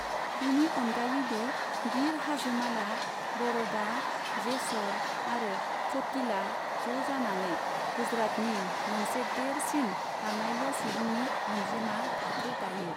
बिनि अनगायैबो गिर हाजोमाला, बर'दा, जेस'र आरो च'टिला ज' जानानै गुजरातनि मोनसे देरसिन बाङाइल' सुबुंनि अनजिमा थाखो दायो।